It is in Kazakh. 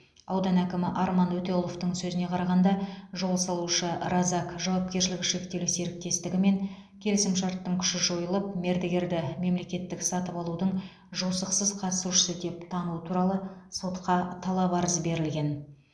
аудан әкімі арман өтеғұловтың сөзіне қарағанда жол салушы разак жауапкершілігі шектеулі серіктестігімен келісімшарттың күші жойылып мердігерді мемлекеттік сатып алудың жосықсыз қатысушысы деп тану туралы сотқа талап арыз берілген